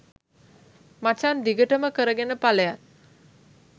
මචං දිගටම කරගෙන පලයන්